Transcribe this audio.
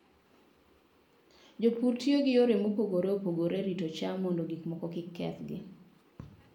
Jopur tiyo gi yore mopogore opogore e rito cham mondo gik moko kik kethgi.